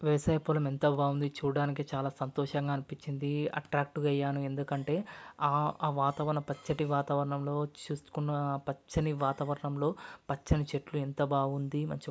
వేసే పొలం ఎంత బాగుంది. చూడడానికి చాలా సంతోషంగా అనిపిచింది. అట్రాక్టు అయ్యాను.ఎందుకంటే ఆ ఆ వాతావరన పచ్చటి వాతావరణం ను చూసుకున్న పచ్చని ఆ వాతావరణం లో పచ్చని చెట్లు ఎంత బాగుంది.